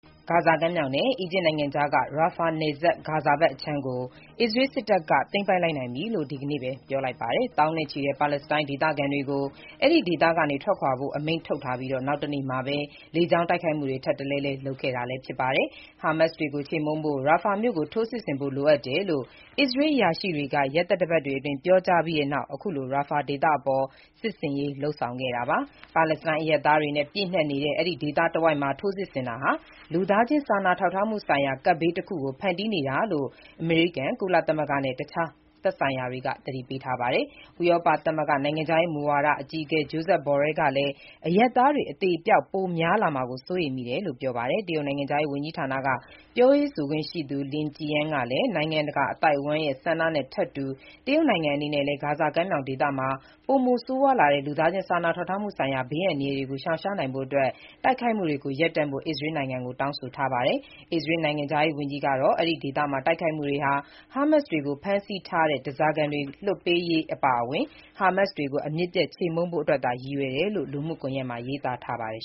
ဂါဇာကမ်းမြှောင်နဲ့ အီဂျစ်နိုင်ငံကြားက Rafah နယ်စပ် ဂါဇာဘက်ခြမ်းကို အစ္စရေးစစ်တပ်က သိမ်းပိုက်လိုက်ပြီလို့ ဒီနေ့ပဲ ပြောပါတယ်။ သောင်းနဲ့ချီတဲ့ ပါလက်စတိုင်းဒေသခံတွေကို အဲဒီဒေသကနေ ထွက်ခွာဖို့ အမိန့်ထုတ်ပြီး နောက်တနေ့မှာပဲ လေကြောင်းတိုက်ခိုက်မှုတွေ ထပ်တလဲလဲ လုပ်ခဲ့တာလည်းဖြစ်ပါတယ်။ ဟာမတ်စ်တွေကို ချေမှုန်းဖို့ ရာဖာမြို့ကို ထိုးစစ်ဆင်ဖို့ လိုအပ်တယ်လို့ အစ္စရေး အရာရှိတွေက ရက်သတ္တပတ်တွေအတွင်း ပြောကြားပြီးနောက် အခုလို Rafah ဒေသအပေါ် စစ်ဆင်ရေးလုပ်ဆောင်ခဲ့တာပါ။ ပါလက်စတိုင်းအရပ်သားတွေနဲ့ ပြည့်နှက်နေတဲ့ ဒီဒေသတဝိုက်မှာ ထိုးစစ်ဆင်တာဟာ လူသားချင်း စာနာထောက်ထားမှုဆိုင်ရာ ကပ်ဘေးတခု ဖန်တီးနေတာလို့ အမေရိကန်၊ ကုလသမဂ္ဂနဲ့ တခြားသက်ဆိုင်ရာတွေက သတိပေးထားပါတယ်။ ဥရောပသမဂ္ဂ နိုင်ငံခြားရေးမူဝါဒ အကြီးအကဲ Josep Borrell ကလည်း အရပ်သားတွေအသေအပျောက် ပိုများလာမှာကို စိုးရိမ်မိတယ်လို့ ပြောပါတယ်။ တရုတ်နိုင်ငံခြားရေးဝန်ကြီးဌာနမှ ပြောရေးဆိုခွင့်ရှိသူ Lin Jian ကလည်း နိုင်ငံတကာအသိုက်အဝန်းရဲ့ဆန္ဒနဲ့ ထပ်တူ တရုတ်နိုင်ငံအနေကလည်း ဂါဇာကမ်းမြောင်ဒေသမှာ ပိုမိုဆိုးရွားတဲ့ လူသားချင်းစာနာထောက်ထားမှုဆိုင်ရာ ဘေးအန္တရာယ်ကို ရှောင်ရှားနိုင်ဖို့အတွက် တိုက်ခိုက်မှုတွေကို ရပ်တန့်ဖို့ အစ္စရေးနိုင်ငံကို တောင်းဆိုလိုက်ပါတယ်။ အစ္စရေး နိုင်ငံခြားရေးဝန်ကြီး Israel Katz ကတော့ Rafah ဒေသမှာ တိုက်ခိုက်မှုတွေဟာ ဟားမတ်စ်တွေ ဖမ်းဆီးထားတဲ့ ဓားစာခံတွေ လွှတ်ပေးရေးအပါအဝင်၊ ဟာမတ်စ်တွေကို အမြစ်ပြတ် ချေမှုန်းဖို့ အတွက်သာရည်ရွယ်တယ်လို့ လူမှုကွန်ယက်မှာ ရေးသားထားပါတယ်